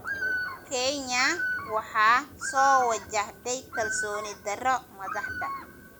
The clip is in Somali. Kenya waxaa soo wajahday kalsooni darro madaxda.